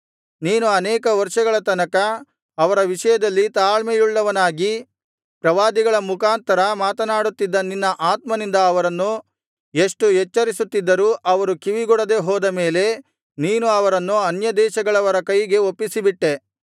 ನೀನು ಅನೇಕ ವರ್ಷಗಳ ತನಕ ಅವರ ವಿಷಯದಲ್ಲಿ ತಾಳ್ಮೆಯುಳ್ಳವನಾಗಿ ಪ್ರವಾದಿಗಳ ಮುಖಾಂತರ ಮಾತನಾಡುತ್ತಿದ್ದ ನಿನ್ನ ಆತ್ಮನಿಂದ ಅವರನ್ನು ಎಷ್ಟು ಎಚ್ಚರಿಸುತ್ತಿದ್ದರೂ ಅವರು ಕಿವಿಗೊಡದೆ ಹೋದ ಮೇಲೆ ನೀನು ಅವರನ್ನು ಅನ್ಯದೇಶಗಳವರ ಕೈಗೆ ಒಪ್ಪಿಸಿಬಿಟ್ಟೆ